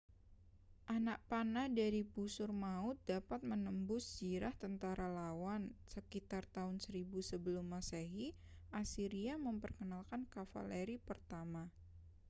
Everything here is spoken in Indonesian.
anak panah dari busur maut dapat menembus zirah tentara lawan sekitar tahun 1000 sebelum masehi asiria memperkenalkan kavaleri pertama